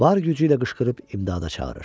Var gücü ilə qışqırıb imdada çağırır.